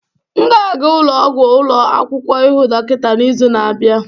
M ga-aga ụlọ ọgwụ ụlọ akwụkwọ ịhụ dọkịta n'izu na-abịa.